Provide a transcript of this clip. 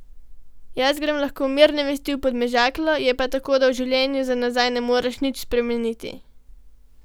Jaz grem lahko mirne vesti v Podmežaklo, je pa tako, da v življenju za nazaj ne moreš nič spremeniti.